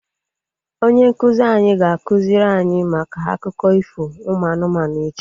Onye nkụzi anyị ga-akụziri anyị maka akụkọ ifo ụmụ anụmanụ echi